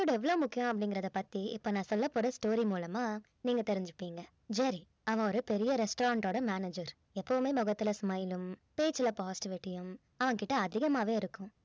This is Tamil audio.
attitude எவ்ளோ முக்கியம் அப்படிங்கிறத பத்தி இப்ப நான் சொல்ல போற story மூலமா நீங்க தெரிஞ்சுபீங்க ஜெர்ரி அவன் ஒரு பெரிய restaurant ஓட manager எப்பவுமே முகத்துல smile உம் பேச்சுல positivity யும் அவன் கிட்ட அதிகமாகவே இருக்கும்